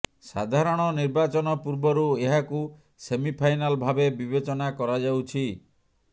ସାଧାରଣ ନିର୍ବାଚନ ପୂର୍ବରୁ ଏହାକୁ ସେମି ଫାଇନାଲ ଭାବେ ବିବେଚନା କରାଯାଉଛି